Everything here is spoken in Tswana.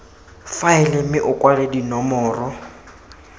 faele mme o kwale dinomoro